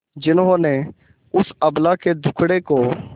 जिन्होंने उस अबला के दुखड़े को